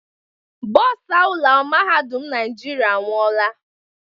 Bòsa ụlọ mahadum Naijiria anwụọla.